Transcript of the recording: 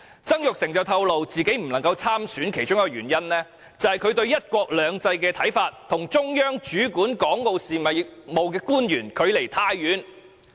曾鈺成透露，自己不能夠參選的其中一個原因，是他對"一國兩制"的看法與中央主管港澳事務的官員相距甚遠。